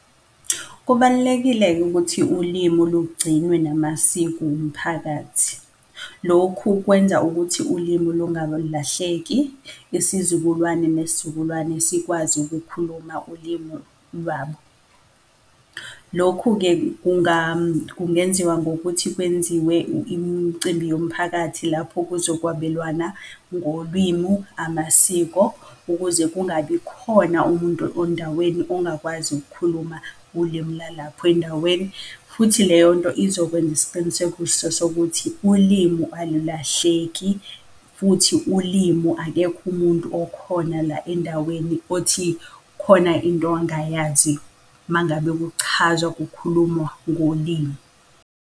Kubalulekile-ke ukuthi ulimu lugcinwe namasiko umphakathi. Lokhu kwenza ukuthi ulimu lungalahleki, isizukulwane nesizukulwane sikwazi ukukhuluma ulimu lwabo. Lokhu-ke kungenziwa ngokuthi kwenziwe imicimbi yomphakathi lapho kuzokwabelwana ngolimu amasiko, ukuze kungabi khona umuntu endaweni ongakwazi ukukhuluma ulimi lwalapho endaweni. Futhi leyonto izokwenza isiqinisekiso sokuthi ulimu alulahleki futhi ulimu akekho umuntu okhona la endaweni othi khona into angayazi mangabe kuchazwa kukhulumwa ngolimu.